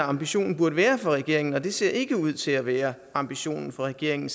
ambitionen for regeringen men det ser ikke ud til at være ambitionen for regeringen